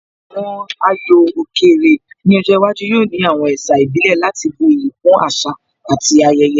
Àwọn ayò òkè rè ní ọjọ́ iwájú yóò ní àwọn ẹ̀sà ìbílẹ̀ láti bu iyì kún àṣà àti ayẹyẹ